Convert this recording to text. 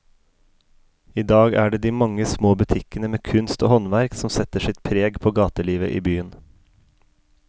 I dag er det de mange små butikkene med kunst og håndverk som setter sitt preg på gatelivet i byen.